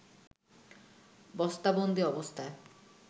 বস্তাবন্দি অবস্থায়